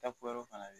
Taa kuyɛrɛ